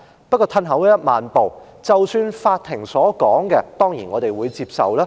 不過，退1萬步說，法庭的判決，我們當然會接受。